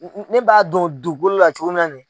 ne b'a don dugukolo la cogo min na ni